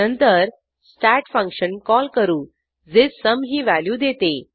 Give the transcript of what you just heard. नंतर stat function call करू जे सुम ही व्हॅल्यू देते